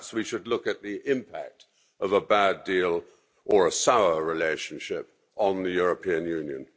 Perhaps we should look at the impact of a bad deal or a sour relationship on the European Union.